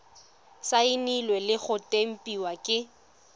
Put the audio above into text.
saenilwe le go tempiwa ke